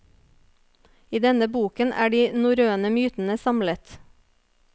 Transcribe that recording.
I denne boken er de norrøne mytene samlet.